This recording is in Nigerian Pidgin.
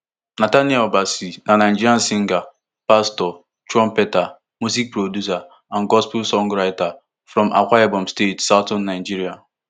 nathaniel bassey na nigerian singer pastor trumpeter music producer and gospel songwriter from akwa ibom state southern nigeria